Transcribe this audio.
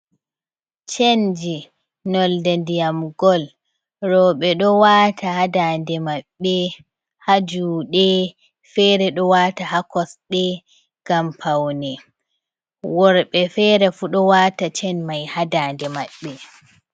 Chenji nolde ndiyam gol. Roɓe ɗo waata haa ndaande maɓɓe, haa juuɗe, feere ɗo waata haa kosɗe ngam paune, worɓe feere fu ɗo waata cen mai haa ndande maɓɓe.